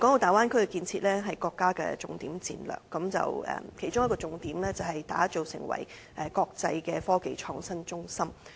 大灣區的建設是國家的重點戰略，其中一個重點是打造成為國際的科技創新中心。